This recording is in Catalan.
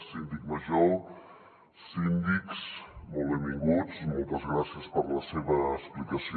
síndic major síndics molt benvinguts moltes gràcies per la seva explicació